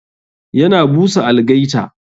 Yana busa algaita.